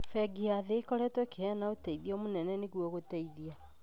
Bengi ya Thĩ ĩkoretwo ĩkĩheana ũteithio nũnene nĩguo gũteithia